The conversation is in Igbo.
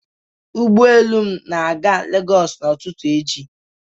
Ụgbọ elu m na-aga Lagos bụ ụtụtụ echi.